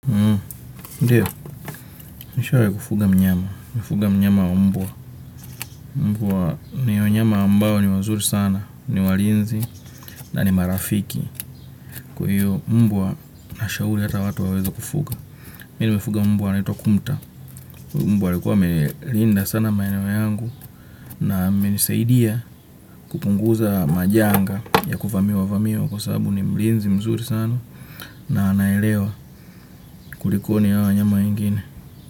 Ndiyo, nishawahi kufuga mnyama, nimefuga mnyama wa mbwa, mbwa ni wanyama ambayo ni wazuri sana, ni walinzi na ni marafiki, kwa hiyo mbwa nashauri hata watu waweza kufuga. Nilimfuga mbwa anaitwa kumta, mbwa alikuwa amelinda sana maeneo yangu na amenisaidia kupunguza majanga ya kuvamiwavamiwa kwa sababu ni mlinzi mzuri sana na anaelewa kulikoni ya wanyama wegine.